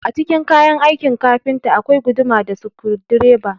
Cikin kayan aikin kafinta akwai guduma da sukudireba